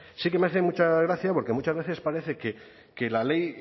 sí que me hace mucha gracia porque muchas veces parece que la ley